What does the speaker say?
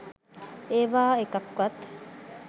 ඒවා එකක්වත්